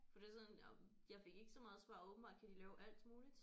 For det er sådan jamen jeg fik ikke så meget svar åbenbart kan de lave alt muligt